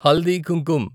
haldi Kumkum